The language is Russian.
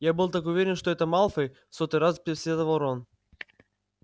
я был так уверен что это малфой в сотый раз посетовал рон